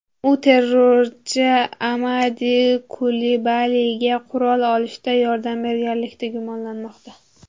U terrorchi Amadi Kulibaliga qurol olishda yordam berganlikda gumonlanmoqda.